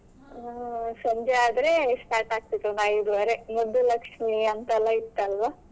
ಆ ಸಂಜೆ ಆದ್ರೆ start ಆಗ್ತಿತ್ತು ಒಂದು ಐದೂವರೆ ಮುದ್ದು ಲಕ್ಷ್ಮಿ ಅಂತೆಲ್ಲ ಇತ್ತಲ್ವಾ.